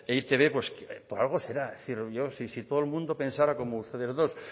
e i te be por algo será es decir yo si todo el mundo pensara como ustedes dos